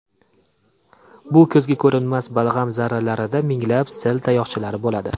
Bu ko‘zga ko‘rinmas balg‘am zarralarida minglab sil tayoqchalari bo‘ladi.